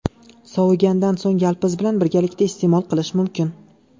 Sovigandan so‘ng yalpiz bilan birgalikda iste’mol qilish mumkin.